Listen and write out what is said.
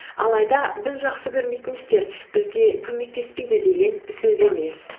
алайда біз жақсы көрмейтін істер бізге көмектеспейді деген сөз емес